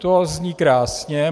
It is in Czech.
To zní krásně.